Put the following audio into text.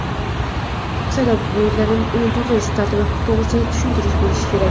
Saylov byulletenida uni to‘ldirish tartibi to‘g‘risidagi tushuntirish bo‘lishi kerak.